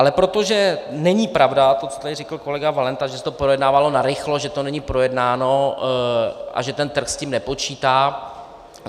Ale protože není pravda to, co tady řekl kolega Valenta, že se to projednávalo narychlo, že to není projednáno a že ten trh s tím nepočítá.